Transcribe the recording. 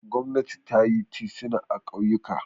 Gwamnati ta yi tituna a ƙauyuka.